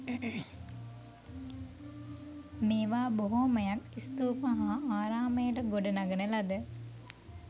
මේවා බොහොමයක් ස්තූප හා ආරාමයට ගොඩනගන ලද